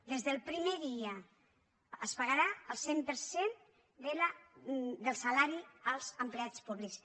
des del primer dia es pagarà el cent per cent del salari als empleats públics